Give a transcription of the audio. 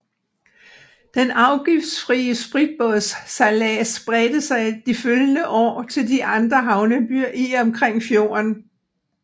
Den afgiftsfrie spritbådssejlads bredte sig de følgende år til de andre havnebyer i og omkring fjorden